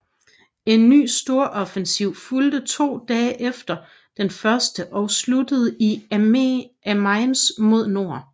En ny storoffensiv fulgte to dage efter den første og sluttede i Amiens mod nord